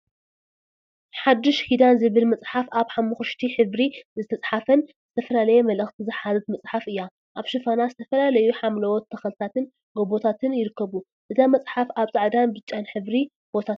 ሓድሽ ኪዳን ዝብል መዕሓፍ አብ ሓመኩሽቲ ሕብሪ ዝተፀሓፈትን ዝተፈላለየ መልእክቲ ዝሓዘት መፅሓፍ እያ፡፡ አብ ሽፋና ዝተፈላለዩ ሓምላዎት ተክልታትን ጎቦታትን ይርከቡ፡፡ እዛ መፅሓፍ አብ ፃዕዳን ብፃጫን ሕብሪ ቦታ ትርከብ፡፡